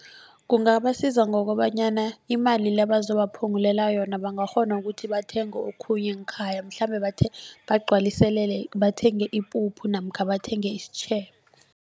Kungabasiza ngokobanyana imali le bazobaphungulela yona bangakghona ukuthi bathenge okhunye ngekhaya mhlambe bagcwaliselele bathenge ipuphu namkha bathenge isitjhebo.